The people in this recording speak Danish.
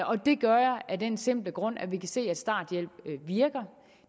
og det gør jeg af den simple grund at vi kan se at starthjælp virker